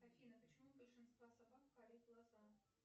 афина почему у большинства собак карие глаза